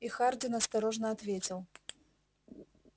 и хардин осторожно ответил